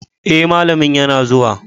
Eh malamin yana zuwa.